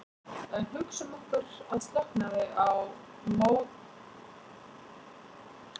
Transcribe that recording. En hugsum okkur að slökknaði á möttulstróknum en gliðnun héldi áfram.